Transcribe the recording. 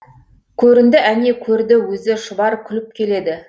көрінді әне көрді өзі шұбар күліп келеді